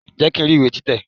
Jẹ́ kí n rí ìwé tí tẹ̀!